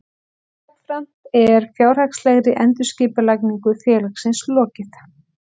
Jafnframt er fjárhagslegri endurskipulagningu félagsins lokið